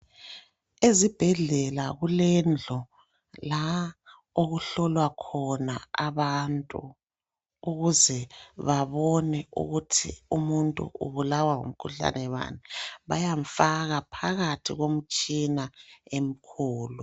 Ezibhedlela kulendlu la okuhlolwa khona abantu ukuze babone ukuthi ubulawa ngumkhuhlane bani. Bayamfaka phakathi komtshina emkhulu